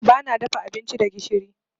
Bana dafa abinci da gishiri.